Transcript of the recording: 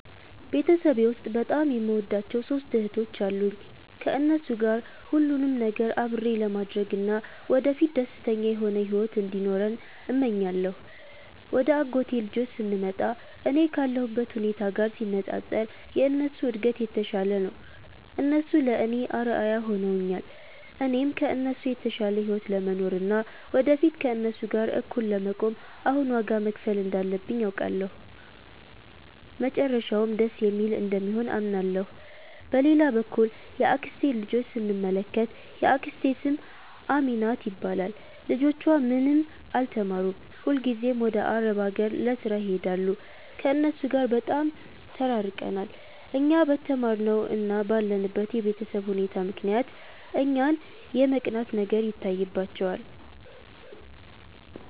ቤተሰቤ ውስጥ በጣም የምወዳቸው ሦስት እህቶች አሉኝ። ከእነሱ ጋር ሁሉንም ነገር አብሬ ለማድረግ እና ወደፊት ደስተኛ የሆነ ሕይወት እንዲኖረን እመኛለሁ። ወደ አጎቴ ልጆች ስንመጣ፣ እኔ ካለሁበት ሁኔታ ጋር ሲነጻጸር የእነሱ እድገት የተሻለ ነው። እነሱ ለእኔ አርአያ ሆነውኛል። እኔም ከእነሱ የተሻለ ሕይወት ለመኖር እና ወደፊት ከእነሱ ጋር እኩል ለመቆም አሁን ዋጋ መክፈል እንዳለብኝ አውቃለሁ፤ መጨረሻውም ደስ የሚል እንደሚሆን አምናለሁ። በሌላ በኩል የአክስቴን ልጆች ስንመለከት፣ የአክስቴ ስም አሚናት ይባላል። ልጆቿ ምንም አልተማሩም፤ ሁልጊዜም ወደ አረብ አገር ለሥራ ይሄዳሉ። ከእነሱ ጋር በጣም ተራርቀናል። እኛ በተማርነው እና ባለንበት የቤተሰብ ሁኔታ ምክንያት እኛን የመቅናት ነገር ይታይባቸዋል